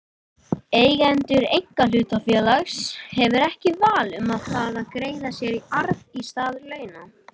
Eigandi einkahlutafélags hefur ekki val um það að greiða sér arð í stað launa.